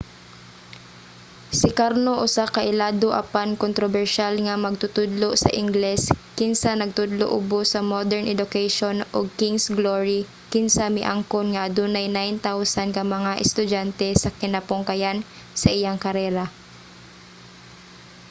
si karno usa ka ilado apan kontrobersyal nga magtutudlo sa ingles kinsa nagtudlo ubos sa modern education ug king's glory kinsa miangkon nga adunay 9,000 ka mga estudyante sa kinapungkayan sa iyang karera